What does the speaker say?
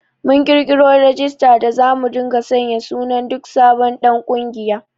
Mun ƙirƙiro rajistar da zamu dinga sanya sunan duk sabon ɗan ƙungiya